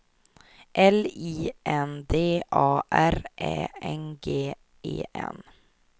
L I N D A R Ä N G E N